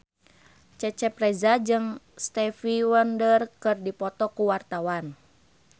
Cecep Reza jeung Stevie Wonder keur dipoto ku wartawan